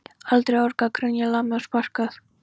Aldrei orgað, grenjað, lamið og sparkað.